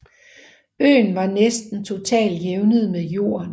Øen var næsten totalt jævnet med jorden